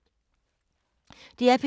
DR P3